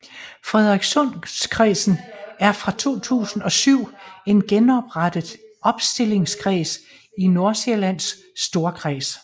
Frederikssundkredsen er fra 2007 en genoprettet opstillingskreds i Nordsjællands Storkreds